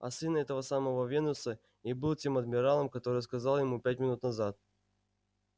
а сын этого самого венуса и был тем адмиралом который сказал ему пять минут назад